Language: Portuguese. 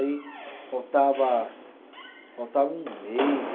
Aí faltava, faltava um mês.